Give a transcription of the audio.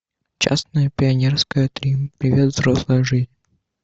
частное пионерское три привет взрослая жизнь